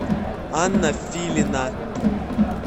анна филина